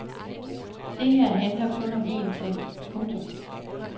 Det her handler kun om en ting. punktum